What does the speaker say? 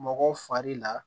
Mɔgɔ fari la